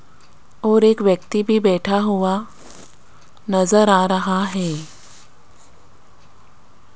और एक व्यक्ति भी बैठा हुआ नजर आ रहा है।